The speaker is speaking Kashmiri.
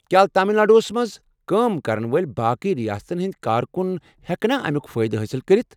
کیٚا تامل ناڈوٗہس منٛز کٲم کرن وٲلۍ باقٕے ریاستن ہنٛدۍ کارکن ہٮ۪کنا امیُک فٲئدٕ حٲصل کٔرتھ؟